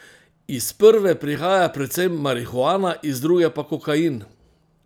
Iz prve prihaja predvsem marihuana, iz druge pa kokain.